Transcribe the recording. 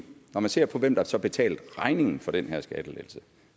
når vi ser på hvem der så betalte regningen for den her skattelettelse